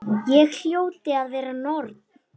Ég hljóti að vera norn.